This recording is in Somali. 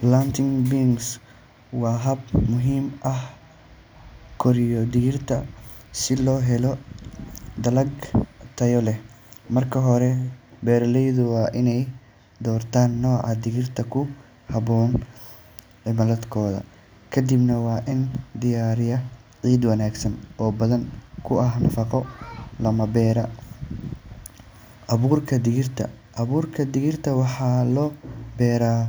pLanting beans waa hab muhiim ah oo lagu koriyo digirta si loo helo dalag tayo leh. Marka hore, beeraleydu waa inay doortaan nooca digirta ku habboon cimiladooda. Kadibna, waa in la diyaariyaa ciid wanaagsan oo hodan ku ah nafaqo, lana beeraa abuurka digirta. Abuurka waxaa la beeraa